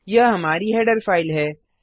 यह हमारी header file है